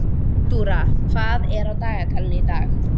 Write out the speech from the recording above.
Náttúra, hvað er á dagatalinu í dag?